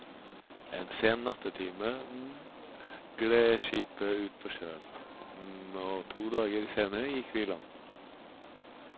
En sen nattetime gled skipet ut på sjøen, og to dager senere gikk vi i land.